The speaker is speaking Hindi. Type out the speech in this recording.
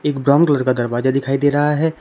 एक ब्राउन कलर का दरवाजा दिखाई दे रहा है।